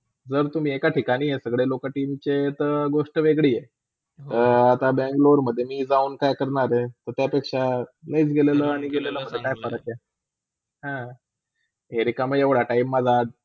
जर तुम्ही एका ठिकाणी सगळी लोका TEAM चेते गोष्टा वेगळी हाय. अ आता बेंगलोरमधे जाऊन काय करणार हेत त्यापेक्षा late गेलेला आणि गेलेला काय फरक हाय. हा, रिकामी हाय एवडा time माझा.